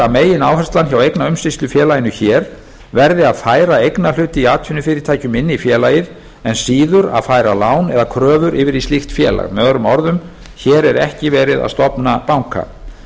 megináherslan hjá eignaumsýslufélaginu hér verði að færa eignarhluti í atvinnufyrirtækjum inn í félagið en síður að færa lán eða kröfur yfir í slíkt félag möo hér er ekki verið að stofna banka